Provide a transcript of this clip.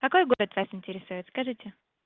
какой город вас интересует скажите